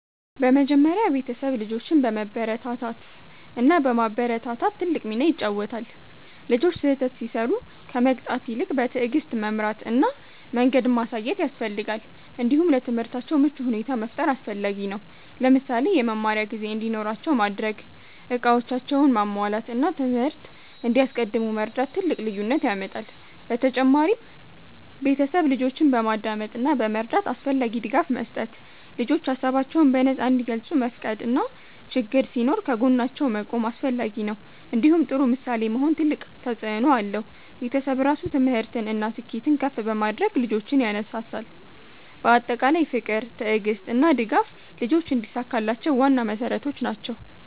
በመጀመሪያ ቤተሰብ ልጆችን በመበረታታት እና በማበረታታት ትልቅ ሚና ይጫወታል። ልጆች ስህተት ሲሰሩ ከመቅጣት ይልቅ በትዕግስት መምራት እና መንገድ ማሳየት ያስፈልጋል። እንዲሁም ለትምህርታቸው ምቹ ሁኔታ መፍጠር አስፈላጊ ነው። ለምሳሌ የመማሪያ ጊዜ እንዲኖራቸው ማድረግ፣ እቃዎቻቸውን ማሟላት እና ትምህርት እንዲያስቀድሙ መርዳት ትልቅ ልዩነት ያመጣል። በተጨማሪም ቤተሰብ ልጆችን በማዳመጥ እና በመረዳት አስፈላጊ ድጋፍ መስጠት። ልጆች ሀሳባቸውን በነፃ እንዲገልጹ መፍቀድ እና ችግኝ ሲኖር ከጎናቸው መቆም አስፈላጊ ነው። እንዲሁም ጥሩ ምሳሌ መሆን ትልቅ ተፅእኖ አለው። ቤተሰብ ራሱ ትምህርትን እና ስኬትን ከፍ በማድረግ ልጆችን ያነሳሳል። በአጠቃላይ ፍቅር፣ ትዕግስት እና ድጋፍ ልጆች እንዲሳካላቸው ዋና መሠረቶች ናቸው።